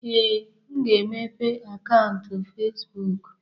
Ee, m ga-emepe akaụntụ Fezbụk.